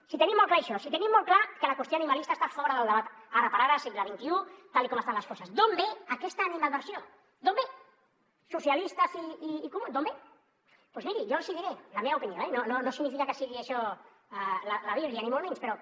si tenim molt clar això si tenim molt clar que la qüestió animalista està fora del debat ara per ara segle xxi tal com estan les coses d’on ve aquesta animadversió d’on ve socialistes i comuns d’on ve doncs miri jo els hi diré la meva opinió eh no significa que sigui això la bíblia ni molt menys però